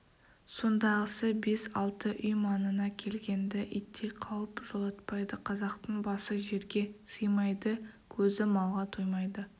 сондағысы бес алты үй маңына келгенді иттей қауіп жолатпайды қазақтың басы жерге сыймайды көзі малға тоймайды